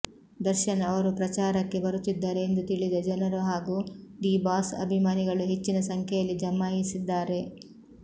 ದರ್ಶನ್ ಅವರು ಪ್ರಚಾರಕ್ಕೆ ಬರುತ್ತಿದ್ದಾರೆ ಎಂದು ತಿಳಿದ ಜನರು ಹಾಗೂ ಡಿ ಬಾಸ್ ಅಭಿಮಾನಿಗಳು ಹೆಚ್ಚಿನ ಸಂಖ್ಯೆಯಲ್ಲಿ ಜಮಾಯಿಸಿದ್ದಾರೆ